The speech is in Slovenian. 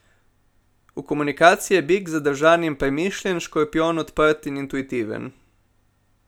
V komunikaciji je bik zadržan in premišljen, škorpijon odprt in intuitiven.